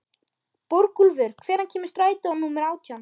Borgúlfur, hvenær kemur strætó númer átján?